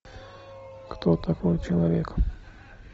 кто такой человек